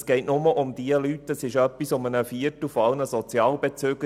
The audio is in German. Es handelt sich dabei um rund einen Viertel aller Sozialhilfebezüger.